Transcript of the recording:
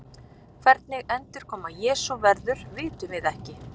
Hvernig endurkoma Jesú verður vitum við ekki.